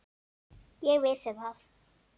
Ég vissi það.